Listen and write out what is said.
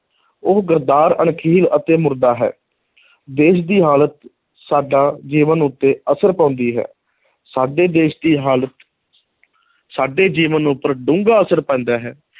ਉਹ ਗੱਦਾਰ, ਅਣਖਹੀਣ ਅਤੇ ਮੁਰਦਾ ਹੈ ਦੇਸ਼ ਦੀ ਹਾਲਤ ਸਾਡਾ ਜੀਵਨ ਉੱਤੇ ਅਸਰ ਪਾਉਂਦੀ ਹੈ ਸਾਡੇ ਦੇਸ਼ ਦੀ ਹਾਲਤ ਸਾਡੇ ਜੀਵਨ ਉੱਪਰ ਡੂੰਘਾ ਅਸਰ ਪੈਂਦਾ ਹੈ,